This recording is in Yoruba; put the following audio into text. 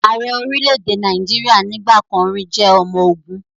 Ààrẹ orílẹ̀-èdè Nàìjíríà nígbà kan rì jẹ́ ọmọ ogun